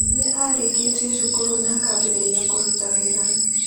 Nĩ aarĩkirie cukuru na akĩambĩrĩria kũruta wĩra.